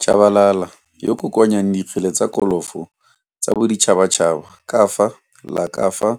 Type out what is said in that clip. Tshabalala yoo o kokoanyang dikgele tsa kolofo tsa boditšhatšhaba ka fa la ka fa